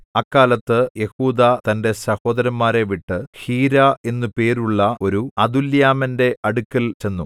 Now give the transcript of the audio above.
അക്കാലത്ത് യെഹൂദാ തന്റെ സഹോദരന്മാരെ വിട്ട് ഹീരാ എന്നു പേരുള്ള ഒരു അദുല്ലാമ്യന്റെ അടുക്കൽ ചെന്നു